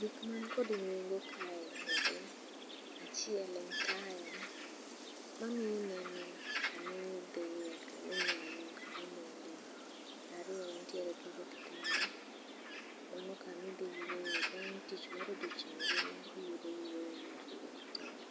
Gik man kod nengo kaeri, achiel en taya mamiyo ineno kama idhiye, kaminyono, kaminindee. Ariyo wantiere gi kitanda, mano kamidhi yueye bang' tich mar odiechieng' ngima, iyudo yueyo mari ewi kitanda.